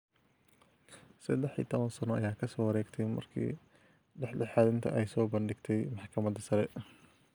Saddex iyo toban sano ayaa ka soo wareegtay markii dhexdhexaadinta ay soo bandhigtay Maxkamadda Sare.